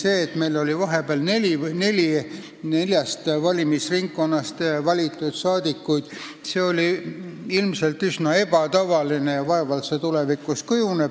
See, et meil oli vahepeal neljast valimisnimekirjast valitud saadikuid, oli ilmselt üsna ebatavaline ja vaevalt see tulevikus nii on.